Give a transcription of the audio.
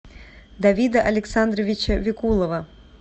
давида александровича викулова